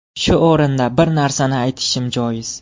Shu o‘rinda bir narsani aytishim joiz.